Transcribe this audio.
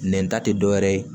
Nɛn ta te dɔwɛrɛ ye